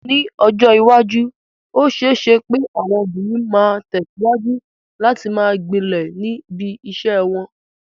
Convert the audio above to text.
Ní ọjọ́ iwájú, ó ṣeé ṣe pé àwọn obìnrin máa tẹ̀síwájú láti máa gbilẹ̀ níbi iṣẹ́ wọn.